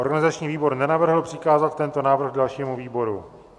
Organizační výbor nenavrhl přikázat tento návrh dalšímu výboru.